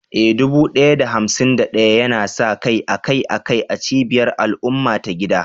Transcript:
Eh, dubu ɗaya da hamsin da ɗaya yana sa kai akai-akai a cibiyar al'umma ta gida.